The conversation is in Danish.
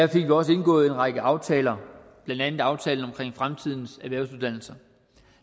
vi også indgået en række aftaler blandt andet aftalen om fremtidens erhvervsuddannelser